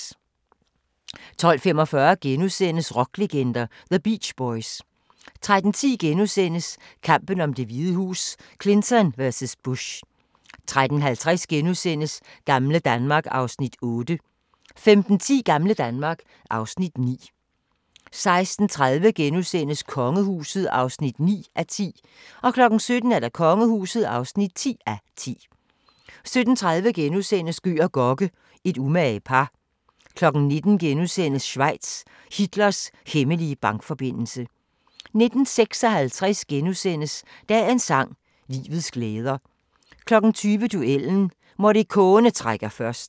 12:45: Rocklegender – The Beach Boys * 13:10: Kampen om Det Hvide Hus: Clinton vs. Bush * 13:50: Gamle Danmark (Afs. 8)* 15:10: Gamle Danmark (Afs. 9) 16:30: Kongehuset (9:10)* 17:00: Kongehuset (10:10) 17:30: Gøg og Gokke – et umage par * 19:00: Schweiz – Hitlers hemmelige bankforbindelse * 19:56: Dagens sang: Livets glæder * 20:00: Duellen – Morricone trækker først